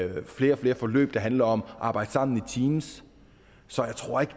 flere og flere forløb der handler om at arbejde sammen i teams så jeg tror ikke